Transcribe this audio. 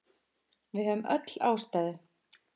Við höfðum öll ástæðu.